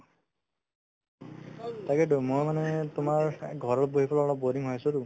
তাকেতো ময়ো মানে তোমাৰ এই ঘৰত বহি পেলাই অলপ boring হৈ আছিলো